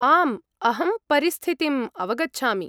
आम्, अहं परिस्थितिम् अवगच्छामि।